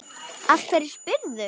Af hverju spyrðu?